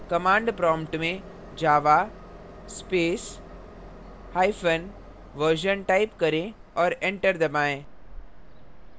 command prompt में java space hyphen version type करें और enter दबाएँ